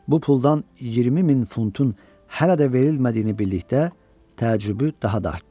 Bu puldan 20 min funtun hələ də verilmədiyini bildikdə təəccübü daha da artdı.